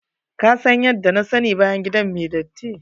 Ka san yadda na sani bayan gida mai datti.